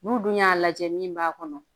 N'u dun y'a lajɛ min b'a kɔnɔ